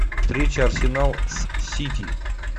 встреча арсенал с сити